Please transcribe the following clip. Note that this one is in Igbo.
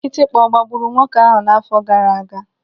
Kịtịkpa ọ gbagburu nwoke ahụ n'afọ gaaraaga?